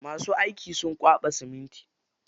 Masu aiki sun kwaɓa siminti.